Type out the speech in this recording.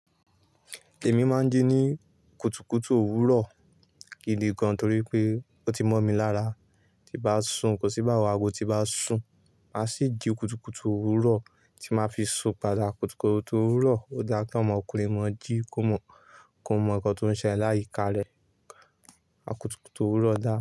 Èmi máa ń jí ní kùtùkùtù òwúrọ̀ gidi gan torí pé ó ti mọ́ mi lára tí bá sùn, kò sí báwo ago tí bá sùn, màá sì jí kùtùkùtù òwúrọ̀ tí màá fi sùn. Gbadà kùtùkùtù òwúrọ̀ ò dá kí ọmọkùnrin mọ̀ọ́ jí kó mọ̀ọ́ kọ́, kó mọ̀ọ́ ǹkan tó ń ṣe ẹ láyika rẹ̀. Kùtùkùtù òwúrọ̀ dà?